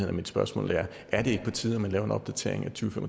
er mit spørgsmål er er det ikke på tide at man laver en opdatering af to